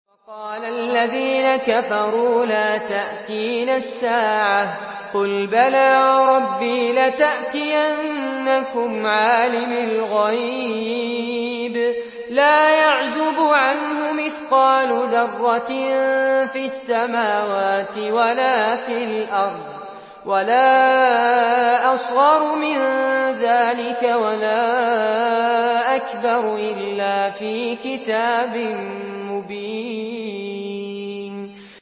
وَقَالَ الَّذِينَ كَفَرُوا لَا تَأْتِينَا السَّاعَةُ ۖ قُلْ بَلَىٰ وَرَبِّي لَتَأْتِيَنَّكُمْ عَالِمِ الْغَيْبِ ۖ لَا يَعْزُبُ عَنْهُ مِثْقَالُ ذَرَّةٍ فِي السَّمَاوَاتِ وَلَا فِي الْأَرْضِ وَلَا أَصْغَرُ مِن ذَٰلِكَ وَلَا أَكْبَرُ إِلَّا فِي كِتَابٍ مُّبِينٍ